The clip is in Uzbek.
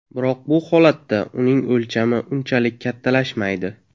Biroq bu holatda uning o‘lchami unchalik kattalashmaydi.